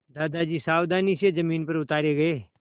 दादाजी सावधानी से ज़मीन पर उतारे गए